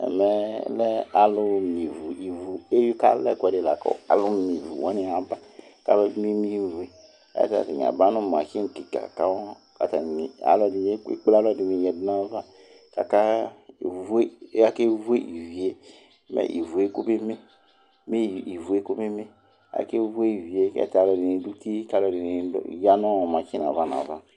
Ɛmɛ lɛ alʋ me ivu, ivu kalɛ ɛkʋɛdɩ la, kalʋ me ivu wanɩ aba kama b' eme ivueAlʋ ɛdɩnɩ aba nʋ machin kɩka dɩ ka wʋ ,kekple alʋ ɛdɩnɩ yǝ nayava, kaka voe ivie mɛ ivue kome me, mɛ ivue kome me Ekple alʋ ɛdɩnɩ yǝ nʋ machini ava nava